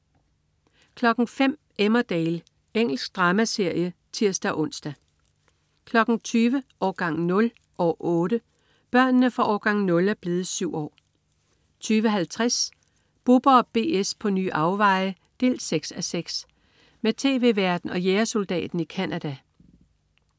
05.00 Emmerdale. Engelsk dramaserie (tirs-ons) 20.00 Årgang 0, år 8. Børnene fra "Årgang 0" er blevet syv år 20.50 Bubber & BS på nye afveje 6:6. Med tv-værten og jægersoldaten i Canada